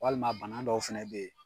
Walima bana dɔw fana bɛ yen.